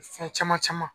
Fɛn caman caman